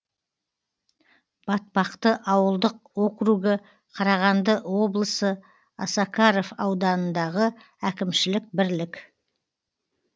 батпақты ауылдық округі қарағанды облысы осакаров ауданындағы әкімшілік бірлік